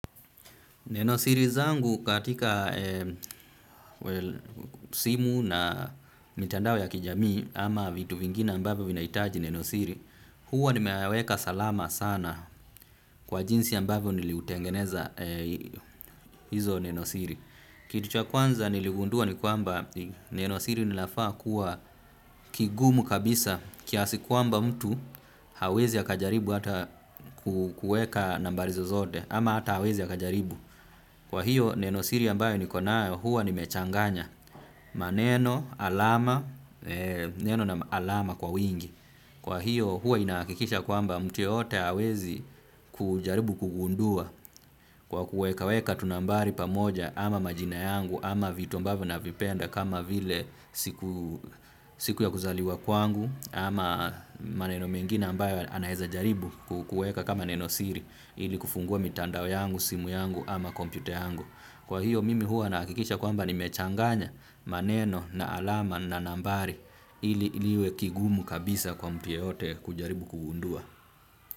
Neno siri zangu katika simu na mitandao ya kijamii ama vitu vingine ambavyo vinahitaji nenosiri, huwa nimeyaweka salama sana kwa jinsi ambavyo niliutengeneza hizo nenosiri. Kitu cha kwanza niligundua ni kwamba nenosiri linafaa kuwa kigumu kabisa kiasi kwamba mtu hawezi akajaribu hata kuweka nambari zozote ama hata hawezi akajaribu. Kwa hiyo neno siri ambayo niko nayo huwa nimechanganya maneno, alama, neno na alama kwa wingi. Kwa hiyo huwa inahakikisha kwamba mtu yeyote hawezi kujaribu kugundua kwa kuweka weka tu nambari pamoja ama majina yangu ama vitu ambavyo navipenda kama vile siku ya kuzaliwa kwangu ama maneno mengine ambayo anaweza jaribu kuweka kama neno siri ili kufungua mitandao yangu simu yangu ama kompyuta yangu. Kwa hiyo mimi huwa nahakikisha kwamba nimechanganya maneno na alama na nambari ili iwe kigumu kabisa kwa mtu yeyote kujaribu kugundua.